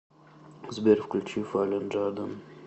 сбер включи фаллен джаден